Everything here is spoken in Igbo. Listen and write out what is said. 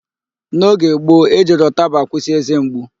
N'oge gbo, e jiri ụtaba akwụsị ézé mgbu.